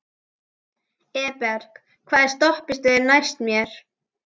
Eberg, hvaða stoppistöð er næst mér?